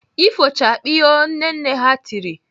"Ifochakpiiiio" Nne nne ha tiri!